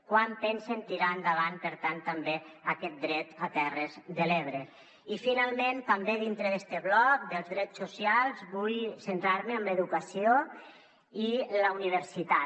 quan pensen tirar endavant per tant també aquest dret a les terres de l’ebre i finalment també dintre d’este bloc dels drets socials vull centrar me en l’educació i la universitat